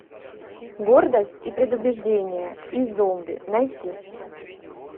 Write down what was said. гордость и предубеждение и зомби найти